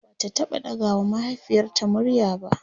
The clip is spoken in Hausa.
Bata taɓa ɗaga wa mahaifiyarta murya ba